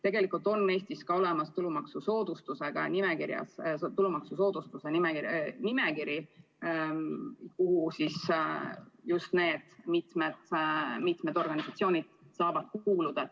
Tegelikult on Eestis olemas tulumaksusoodustuste nimekiri, kuhu mitu niisugust organisatsiooni saab kuuluda.